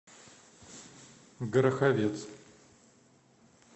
гороховец